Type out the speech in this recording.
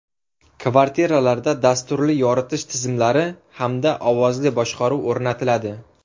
Kvartiralarda dasturli yoritish tizimlari hamda ovozli boshqaruv o‘rnatiladi.